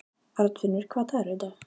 Arnfinnur, hvaða dagur er í dag?